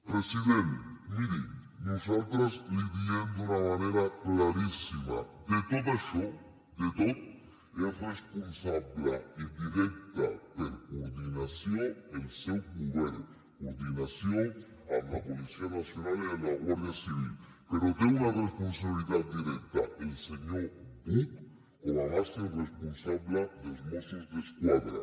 president miri nosaltres li ho diem d’una manera claríssima de tot això de tot és responsable indirecte per coordinació el seu govern coordinació amb la policia nacional i amb la guàrdia civil però té una responsabilitat directa el senyor buch com a màxim responsable dels mossos d’esquadra